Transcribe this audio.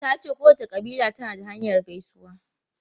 Ta ce kowace kabila tana da hanyar gaisuwa.